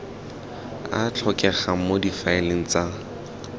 a tlhokegang mo difaeleng tsa